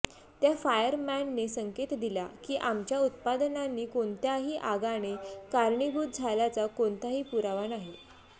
त्या फायरमॅनने संकेत दिल्या की आमच्या उत्पादनांनी कोणत्याही आगाने कारणीभूत झाल्याचा कोणताही पुरावा नाही